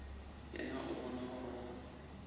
yena o bona gore go